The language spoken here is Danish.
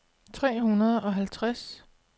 tre hundrede og halvtreds